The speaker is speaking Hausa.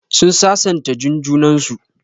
Sun sasanta Jun junan su.